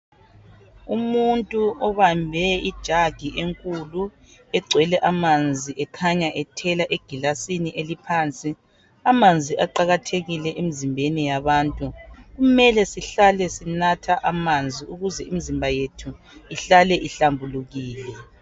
Umuntu obambe ijug enkulu egcwele amanzi ekhanya ethela eglasini eliphansi. Amanzi aqakathekile emzimbeni yabantu . Kumele sihlale sinatha amanzi ukuze imzimba yethu ihlale ihlanzekile.